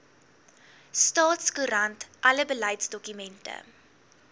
staatskoerant alle beleidsdokumente